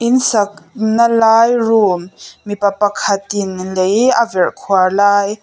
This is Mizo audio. in sakna lai room mipa pakhatin lei a verh khuar lai--